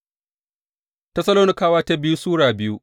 biyu Tessalonikawa Sura biyu